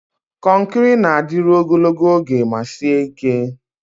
Konkiri na-adịru ogologo oge ma sie ike.